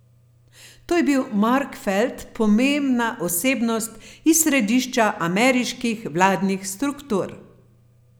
To je bil Mark Felt, pomembna osebnost iz središča ameriških vladnih struktur.